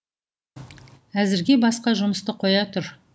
әзірге басқа жұмысты қоя тұр